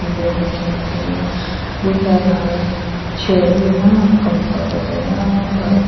etu dikhi ase buhi la chair bi eman comfortable eman bhal di--